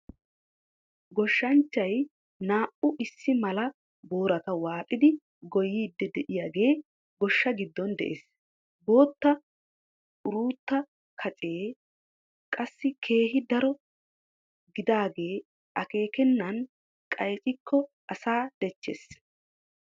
Gooshshanchchay naa"u issi mala boorata waaxidi gooyidi de'iyaagee goshshaa giddon de'ees. boot=ratu kacee qassi keehi daro gidaage akeekenan qayccikko asaa dechchees.